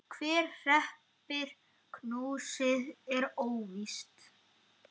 Hver hreppir hnossið er óvíst.